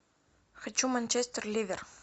хочу манчестер ливер